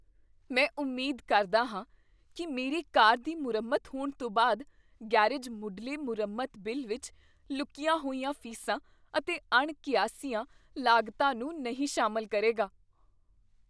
ਮੈਂ ਉਮੀਦ ਕਰਦਾ ਹਾਂ ਕੀ ਮੇਰੀ ਕਾਰ ਦੀ ਮੁਰੰਮਤ ਹੋਣ ਤੋਂ ਬਾਅਦ ਗ਼ੈਰੇਜ ਮੁੱਢਲੇ ਮੁਰੰਮਤ ਬਿੱਲ ਵਿੱਚ ਲੁਕੀਆਂ ਹੋਈਆਂ ਫ਼ੀਸਾਂ ਅਤੇ ਅਣਕੀਆਸੀਆਂ ਲਾਗਤਾਂ ਨੂੰ ਨਹੀਂ ਸ਼ਾਮਿਲ ਕਰੇਗਾ।